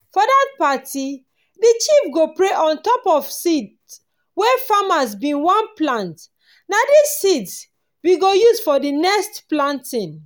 for that party the chief go pray on top seed wey farmers bin wan plant. na dis seeds we go use for the next planting.